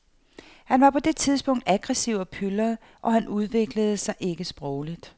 Han var på det tidspunkt aggressiv og pylret, og han udviklede sig ikke sprogligt.